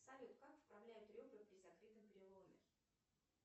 салют как вправляют ребра при закрытом переломе